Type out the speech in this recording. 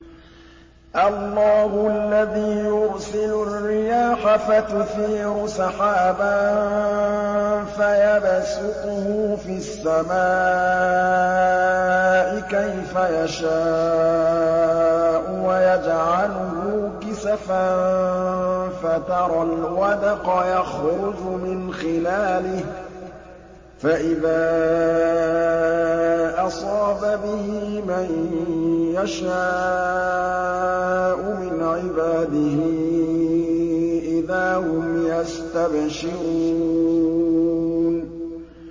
اللَّهُ الَّذِي يُرْسِلُ الرِّيَاحَ فَتُثِيرُ سَحَابًا فَيَبْسُطُهُ فِي السَّمَاءِ كَيْفَ يَشَاءُ وَيَجْعَلُهُ كِسَفًا فَتَرَى الْوَدْقَ يَخْرُجُ مِنْ خِلَالِهِ ۖ فَإِذَا أَصَابَ بِهِ مَن يَشَاءُ مِنْ عِبَادِهِ إِذَا هُمْ يَسْتَبْشِرُونَ